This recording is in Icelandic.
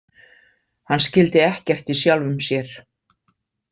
Hann skildi ekkert í sjálfum sér.